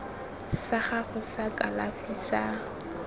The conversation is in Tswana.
sa gago sa kalafi sa